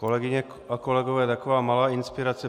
Kolegyně a kolegové, taková malá inspirace.